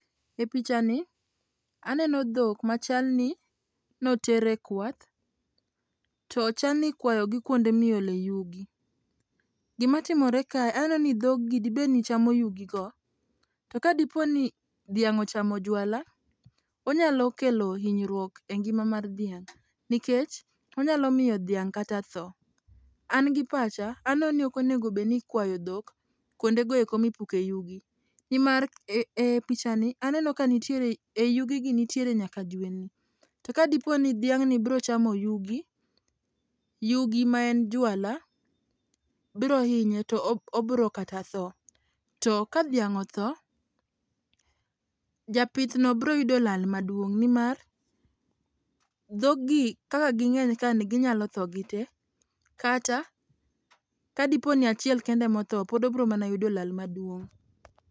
E pichani aneno dhok machal n noter e kwath to chal ni ikwayogi kuonde miole yugi. Gima timore kae aneno ni dhog gi dibedni chamo yugi go to ka diponi dhiang ochamo jwala onyalo kelo hinyruok e ngima mar dhiang nikech onyalo miyo dhiang kata tho. An gi pacha aneno ni ok onego bed ni ikwayo dhok kuonde mipuke yugi nimar e pichani aneno ka nitiere e yugi gi nitiere nyaka jwendni. To kadiponi dhiang ni biro chamo yugi, yugi maen jwala biro hinye to obiro kata tho to ka dhiang otho japith no biro yudo lal maduong nimar dhog gi kaka ginyeny ka ni ginyalo tho gitee kata kadiponi achiel kende ema otho pod obiro mana yudo lal maduong